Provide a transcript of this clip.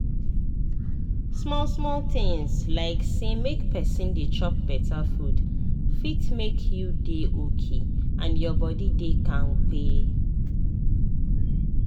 small-small tinz like say make pesin dey chop beta food fit make you dey okay and your body dey kampe.